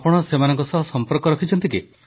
ଆପଣ ସେମାନଙ୍କ ସହ ସମ୍ପର୍କ ରଖିଛନ୍ତି କି